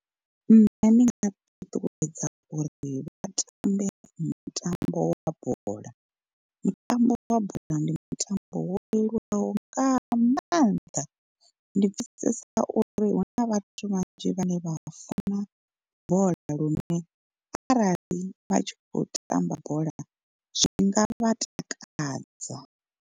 Nṋe ndi nga ṱuṱuwedza uri vha tambe mutambo wa bola, mutambo wa bola ndi mutambo wo leluwaho nga maanḓa. Ndi pfesesa uri huna vhathu vhanzhi vhane vha funa bola lune arali vha tshi kho tamba bola zwi nga vha takadza.